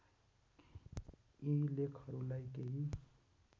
यी लेखहरूलाई केही